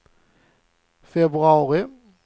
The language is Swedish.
februari